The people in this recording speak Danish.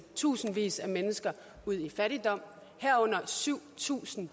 tusindvis af mennesker ud i fattigdom herunder syv tusind